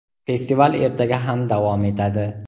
Festival ertaga ham davom etadi!.